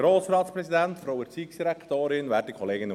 dies geschieht nur wegen der Übersetzung.